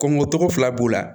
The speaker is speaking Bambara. Kɔngo togo fila b'u la